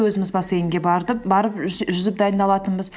өзіміз бассейнге барып жүзіп дайындалатынбыз